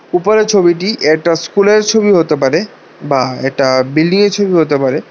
উপরের ছবিটি একটা স্কুল এর ছবি হতে পারে বা একটা বিল্ডিং এর ছবি হতে পারে।